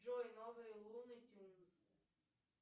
джой новые луны тинз